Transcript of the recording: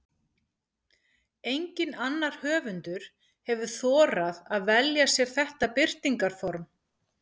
Enginn annar höfundur hefur þorað að velja sér þetta birtingarform.